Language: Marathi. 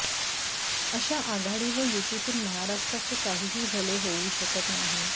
अशा आघाडी व युतीतून महाराष्ट्राचे काहीही भले होऊ शकत नाही